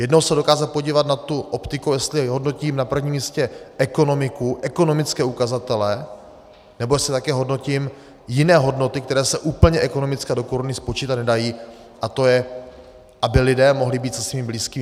Jednou se dokázat podívat na tu optiku, jestli hodnotím na prvním místě ekonomiku, ekonomické ukazatele, nebo jestli také hodnotím jiné hodnoty, které se úplně ekonomicky do koruny spočítat nedají, a to je, aby lidé mohli být se svými blízkými.